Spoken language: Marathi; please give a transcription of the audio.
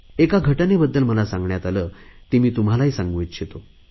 एका घटनेबद्दल मला सांगण्यात आले ती मी तुम्हालाही सांगू इच्छितो